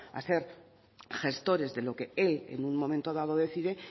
a ser gestores de lo que él en un momento dado decide